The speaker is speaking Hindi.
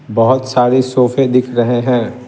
बहुत सारे सोफे दिख रहे हैं।